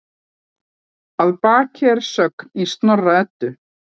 Að baki er sögn í Snorra-Eddu